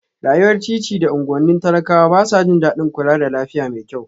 Rayuwar titi da unguwannin talakawa ba sa jin daɗin kula da lafiya mai kyau